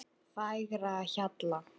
Fagrahjalla